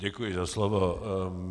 Děkuji za slovo.